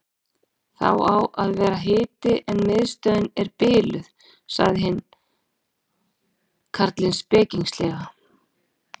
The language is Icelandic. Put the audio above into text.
Það á að vera hiti en miðstöðin er biluð sagði hinn karlinn spekingslega.